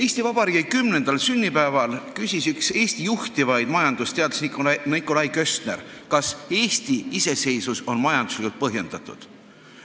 Eesti Vabariigi 10. sünnipäeval küsis üks Eesti juhtivaid majandusteadlasi Nikolai Köstner, kas Eesti iseseisvus on majanduslikult põhjendatud.